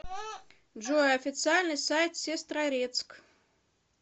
джой официальный сайт сестрорецк